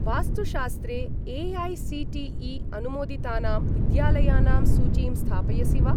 वास्तुशास्त्रे ए.ऐ.सी.टी.ई.अनुमोदितानां विद्यालयानां सूचीं स्थापयसि वा?